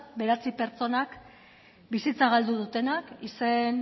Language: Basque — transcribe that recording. bederatzi pertsonak bizitza galdu dutenak izen